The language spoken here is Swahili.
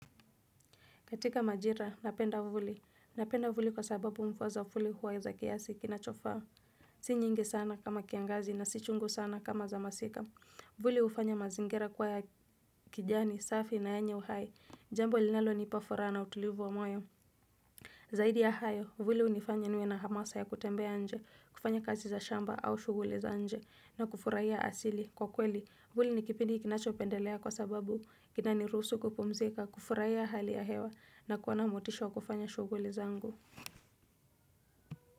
Katika majira, napenda vuli. Napenda vuli kwa sababu mvua za vuli huwa za kiasi kinachofaa. Si nyingi sana kama kiangazi na si chungu sana kama za masika. Vuli hufanya mazingira kuwa ya kijani, safi na yenye uhai. Jambo linalonipa furaha na utulivu wa moyo. Zaidi ya hayo, vuli hunifanya niwe na hamasa ya kutembea nje, kufanya kazi za shamba au shughuli za nje. Na kufurahia asili. Kwa kweli, vuli ni kipindi kinachopendelea kwa sababu kinanirusu kupumzika. Kufurahia hali ya hewa na kuwa na motisha wa kufanya shughuli zangu.